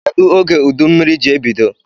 Kedu oge udummiri ji ebido?